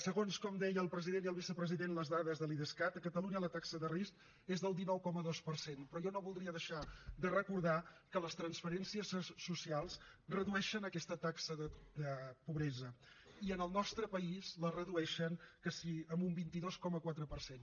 segons com deien el president i el vicepresident les dades de l’idescat a catalunya la taxa de risc és del dinou coma dos per cent però jo no voldria deixar de recordar que les transferències socials redueixen aquesta taxa de pobresa i en el nostre país la redueixen quasi en un vint dos coma quatre per cent